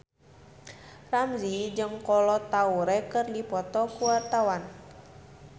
Ramzy jeung Kolo Taure keur dipoto ku wartawan